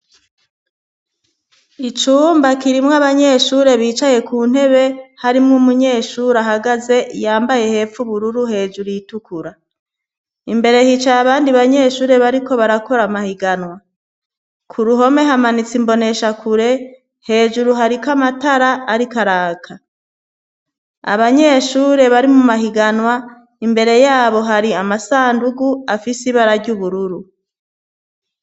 Icumbakirimwo abanyeshure bicaye ku ntebe harimwo umunyeshuri ahagaze yambaye hepfu bururu hejuru yitukura imbere hicaye abandi banyeshure bariko barakora amahiganwa ku ruhome hamanitsi imbonesha kure hejuru hariko amatara ari karaka abanyeshure bari mu mahiganwa imbere yabo hari amasandugu afise ibarary'ubururu.